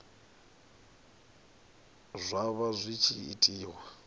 zwa vha zwi tshi itiwa